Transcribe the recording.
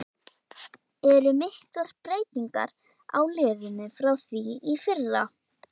Eru miklar breytingar á liðinu frá því í fyrra?